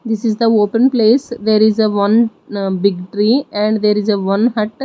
this is the open place there is a one big tree and there is a one hut.